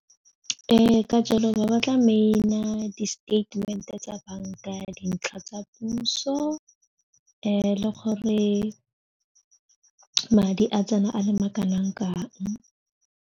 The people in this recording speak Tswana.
Ee, ka jalo ba batla maina, di-statement e tsa banka dintlha tsa puso le gore madi a tsena a le ma kanang kang.